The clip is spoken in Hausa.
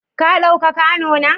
Ka ɗauka kwano na?